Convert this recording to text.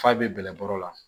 F'a bɛ bɛlɛnkɔrɔ la